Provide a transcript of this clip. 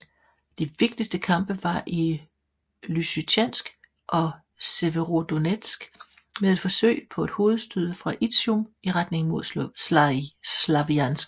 De vigtigste kampe var i Lysytjansk og Severodonetsk med et forsøg på et hovedstød fra Izjum i retning mod Slavjansk